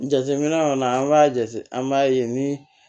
Jateminɛ kɔni an b'a jate an b'a ye ni